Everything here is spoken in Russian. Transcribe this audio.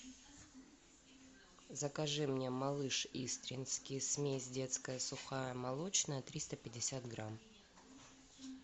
закажи мне малыш истринский смесь детская сухая молочная триста пятьдесят грамм